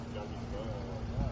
Gəlsin də.